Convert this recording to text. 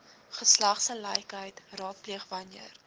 geslagsgelykheid raadpleeg wanneer